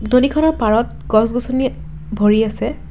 খনৰ পাৰত গছগছনি ভৰি আছে।